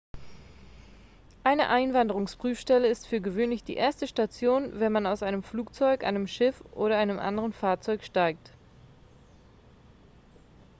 eine einwanderungsprüfstelle ist für gewöhnlich die erste station wenn man aus einem flugzeug einem schiff oder einem anderen fahrzeug steigt